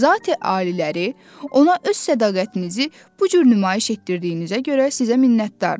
Zati-aliləri ona öz sədaqətinizi bu cür nümayiş etdirdiyinizə görə sizə minnətdır.